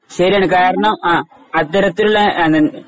ശരിയാണ് കാരണം ആ അത്തരത്തിലുള്ള അതി